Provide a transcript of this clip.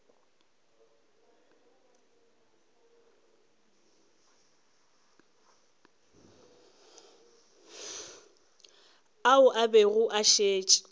ao a bego a šetše